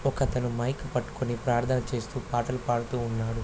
ఒకతను మైక్ పట్టుకుని ప్రార్ధన చేస్తూ పాటలు పాడుతూ ఉన్నాడు.